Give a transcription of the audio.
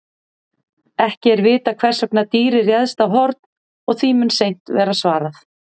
Ekki er vitað hvers vegna dýrið réðst á Horn og því mun seint verða svarað.